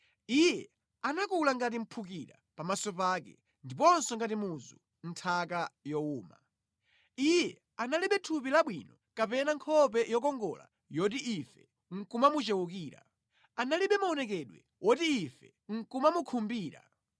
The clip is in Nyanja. Iye anakula ngati mphukira pamaso pake, ndiponso ngati muzu mʼnthaka yowuma. Iye analibe thupi labwino kapena nkhope yokongola yoti ife nʼkumamuchewukira, analibe maonekedwe woti ife nʼkumamukhumbira.